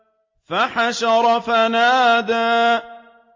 فَحَشَرَ فَنَادَىٰ